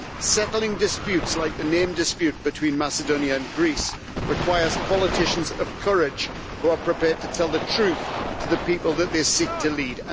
Settling disputes like the name dispute between Macedonia and Greece requires politicians of courage, who are prepared to tell the truth to the people that they seek to lead.